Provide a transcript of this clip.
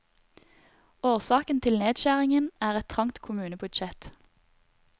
Årsaken til nedskjæringen er et trangt kommunebudsjett.